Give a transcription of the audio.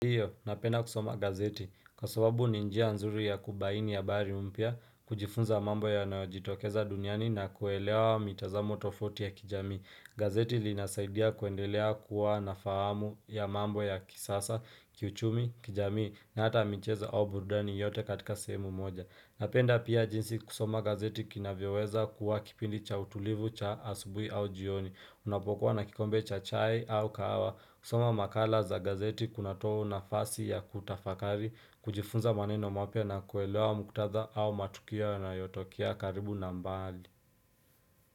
Ndiyo, napenda kusoma gazeti, kwa sababu ni njia nzuri ya kubaini habari mpya, kujifunza mambo yanayojitokeza duniani na kuelewa mitazamo tofauti ya kijamii. Gazeti linasaidia kuendelea kuwa na fahamu ya mambo ya kisasa, kiuchumi, kijamii na hata michezo au burudani yote katika sehemu moja Napenda pia jinsi kusoma gazeti kinavyoweza kuwa kipindi cha utulivu, cha asubuhi au jioni. Unapokuwa na kikombe cha chai au kahawa, kusoma makala za gazeti kunatoa nafasi ya kutafakari, kujifunza maneno mapya na kuelewa muktadha au matukia yanayotokea karibu na mbali.